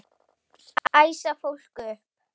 Æsa fólk upp?